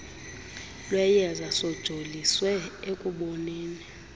lweyeza sojoliswe ekuboneni